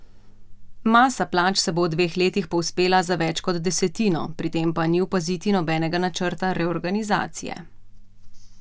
Masa plač se bo v dveh letih povzpela za več kot desetino, pri tem pa ni opaziti nobenega načrta reorganizacije.